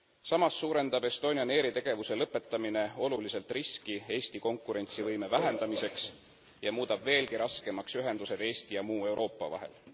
Samas suurendab Estonian Airi tegevuse lõpetamine oluliselt riski Eesti konkurentsivõime vähendamiseks ja muudab veelgi raskemaks ühendused Eesti ja muu Euroopa vahel.